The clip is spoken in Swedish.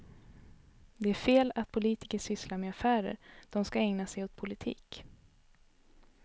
Det är fel att politiker sysslar med affärer, de ska ägna sig åt politik.